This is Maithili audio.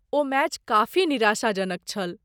ओ मैच काफी निराशाजनक छल।